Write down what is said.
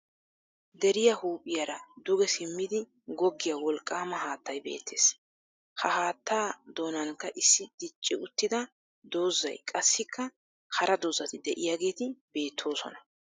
Deriya huuphiyaara duge simmidi goggiya wolqqaama haattay beettes. Ha haattaa doonnanikka issi dicci uttida dozzay qassikka hara dozzati diyageeti beettoosona.